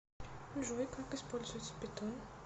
джой как используется питон